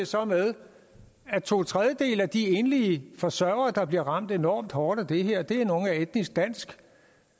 så med at to tredjedele af de enlige forsørgere der bliver ramt enormt hårdt af det her er af etnisk dansk